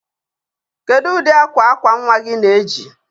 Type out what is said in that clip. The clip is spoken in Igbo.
Kedu ụdị akwa akwa nwa gị na-eji?